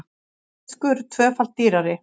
Fiskur tvöfalt dýrari